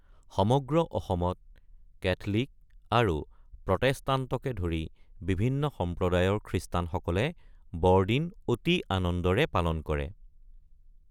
সমগ্ৰ অসমত কেথলিক আৰু প্ৰটেস্টাণ্টকে ধৰি বিভিন্ন সম্প্ৰদায়ৰ খ্ৰীষ্টানসকলে বৰদিন অতি আনন্দেৰে পালন কৰে।